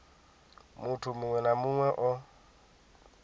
muthu muṅwe na muṅwe o